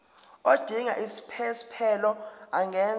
odinga isiphesphelo angenza